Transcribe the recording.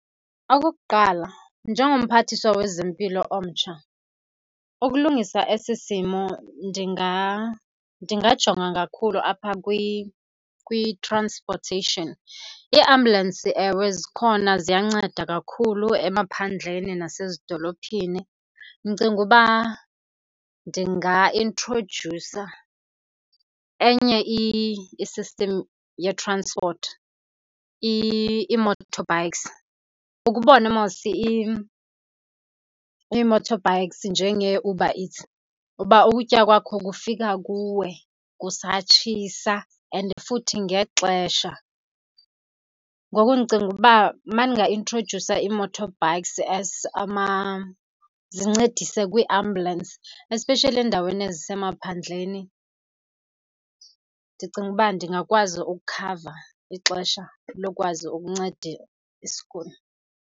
Okokuqala, njengomphathiswa wezempilo omtsha ukulungisa esi simo ndingajonga kakhulu apha kwi-transportation. Iiambulensi, ewe, zikhona ziyanceda kakhulu emaphandleni nasezidolophini. Ndicinga uba ndinga introdyusa enye i-system yetranspoti , ii-motorbikes. Ukhe ubone mos ii-motorbikes njengeeUber Eats uba ukutya kwakho kufika kuwe kusatshisa and futhi ngexesha. Ngoku ndicinga uba uma ndingaintrodyusa ii-motorbikes as , zincedise kwii-ambulensi, especially endaweni ezisemaphandleni, ndicinga uba ndingakwazi ukukhava ixesha lokwazi ukunceda isiguli.